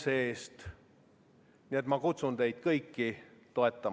See ettepanek suurendab kohalike omavalitsuste tasandusfondi suhteliselt subjektiivsete katuserahade arvel.